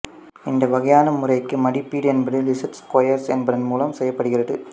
இந்த வகையான முறைக்கு மதிப்பீடு என்பது லீஸடு ஸ்குயர்ஸ் என்பதன் மூலம் செய்யப்படுகிறது